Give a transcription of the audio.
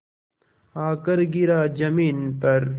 आकर गिरा ज़मीन पर